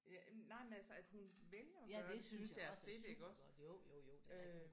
Ja nej men altså at hun vælger at gøre det synes jeg er fedt iggås øh